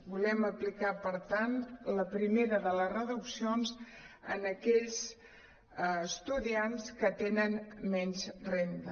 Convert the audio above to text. volem apli·car per tant la primera de les reduccions en aquells estudiants que tenen menys renda